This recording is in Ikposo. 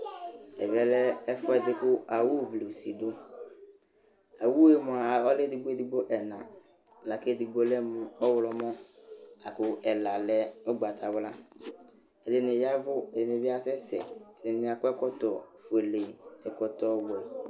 Ɛvɛ lɛ ɛfʋɛdɩ kʋ awuvlɩ usi dʋ Awu yɛ mʋa, ɔlɛ edigbo edigbo ɛna la kʋ edigbo lɛ mʋ ɔɣlɔmɔ la kʋ ɛla lɛ ʋgbatawla Ɛdɩnɩ ya ɛvʋ, ɛdɩnɩ bɩ asɛsɛ Ɛdɩnɩ akɔ ɛkɔtɔfuele, ɛkɔtɔwɛ